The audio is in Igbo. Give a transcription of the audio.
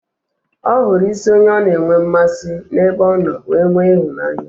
Ọ hụrụ isi onye ọ na enwe mmasị n'ebe ọ nọ wee nwee ịhụnanya